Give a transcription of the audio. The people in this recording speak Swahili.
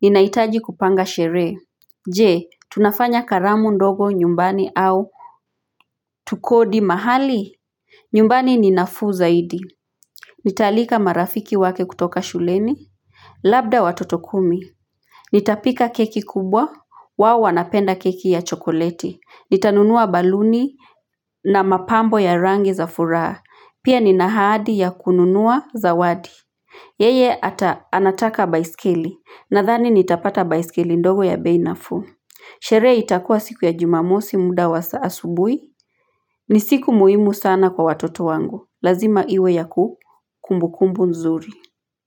Ninahitaji kupanga sherehe Je tunafanya karamu ndogo nyumbani au Tukodi mahali nyumbani ninafuu zaidi Nitaalika marafiki wake kutoka shuleni Labda watoto kumi Nitapika keki kubwa wao wanapenda keki ya chokoleti Nitanunua baluni na mapambo ya rangi za furaha pia nina ahadi ya kununua zawadi Yeye hata anataka baiskeli nathani nitapata baiskeli ndogo ya bei naFuu. Sherehe itakua siku ya jumamosi muda wa saa asubuhi. Ni siku muhimu sana kwa watoto wangu. Lazima iwe ya kuku. Kumbu kumbu nzuri.